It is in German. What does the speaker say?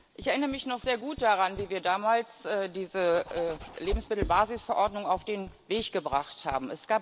Ich erinnere mich noch sehr gut daran, wie wir damals diese Lebensmittelbasisverordnung auf den Weg gebracht haben.